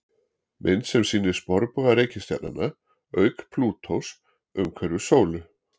Mynd sem sýnir sporbauga reikistjarnanna, auk Plútós, umhverfis sólu.